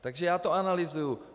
Takže já to analyzuji.